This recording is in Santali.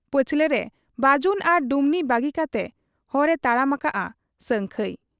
ᱯᱟᱹᱪᱷᱞᱟᱹ ᱨᱮ ᱵᱟᱹᱡᱩᱱ ᱟᱨ ᱰᱩᱢᱱᱤ ᱵᱟᱹᱜᱤ ᱠᱟᱛᱮ ᱦᱚᱨ ᱮ ᱛᱟᱲᱟᱢ ᱟᱠᱟᱜ ᱟ ᱥᱟᱹᱝᱠᱷᱟᱹᱭ ᱾